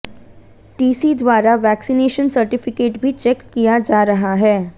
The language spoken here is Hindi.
टीसी द्वारा वैक्सीनेशन सर्टिफिकेट भी चेक किया जा रहा है